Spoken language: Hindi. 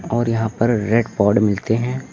और यहां पर रेड पाट मिलते हैं।